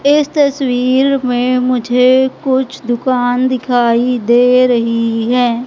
इस तस्वीर में मुझे कुछ दुकान दिखाई दे रही है।